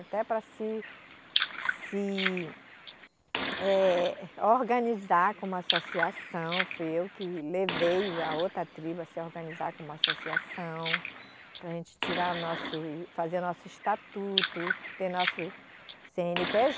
Até para se, se, eh, organizar como associação, fui eu que levei o a outra tribo a se organizar como associação, para a gente tirar nosso, fazer nosso estatuto, ter nosso Cê ene pê